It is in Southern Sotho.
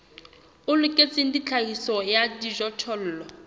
o loketseng tlhahiso ya dijothollo